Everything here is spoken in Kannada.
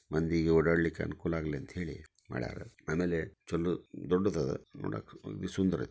ಮಂದಿಗೆ ಓಡಾಡ್ಲಿಕಿ ಅನುಕೂಲ ಆಗ್ಲಿ ಅಂತ ಹೇಳಿ ಮಾಡ್ಯಾರ. ಅಮೇಲೆ ಚೊಲೋ ದೊಡ್ದುದದ ನೋಡಾಕ ಅಗ್ದಿ ಸುಂದರ--